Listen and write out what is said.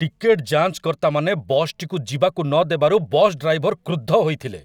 Ticket ଯାଞ୍ଚକର୍ତ୍ତାମାନେ ବସ୍‌ଟିକୁ ଯିବାକୁ ନଦେବାରୁ ବସ୍ ଡ୍ରାଇଭର୍‌‌ କ୍ରୁଦ୍ଧ ହୋଇଥିଲେ।